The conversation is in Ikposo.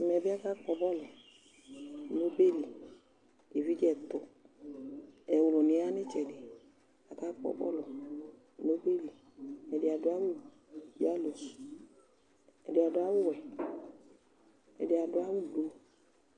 Ɛmɛ bɩ akakpɔ bɔlʋ nʋ ɔbɛ li Evidze ɛtʋ, ɛwlʋnɩ yɛ ya nʋ ɩtsɛdɩ Akakpɔ bɔlʋ nʋ ɔbɛ li Ɛdɩ adʋ awʋ yalo, ɛdɩ adʋ awʋwɛ, ɛdɩ adʋ awʋblu